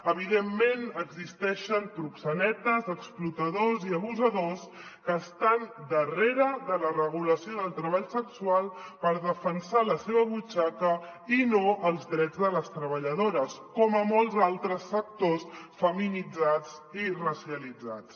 evidentment existeixen proxenetes explotadors i abusadors que estan darrere de la regulació del treball sexual per defensar la seva butxaca i no els drets de les treballadores com a molts altres sectors feminitzats i racialitzats